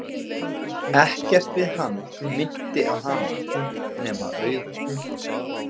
Ekkert við hann minnti á hana, nema augun.